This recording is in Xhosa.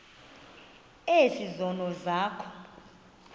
ezi zono zakho